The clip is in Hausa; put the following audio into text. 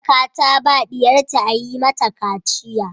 Baraka ta ba diyarta a Yi mata kaciya.